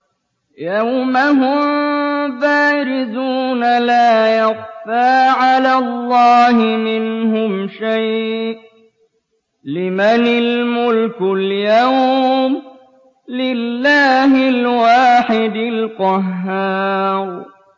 يَوْمَ هُم بَارِزُونَ ۖ لَا يَخْفَىٰ عَلَى اللَّهِ مِنْهُمْ شَيْءٌ ۚ لِّمَنِ الْمُلْكُ الْيَوْمَ ۖ لِلَّهِ الْوَاحِدِ الْقَهَّارِ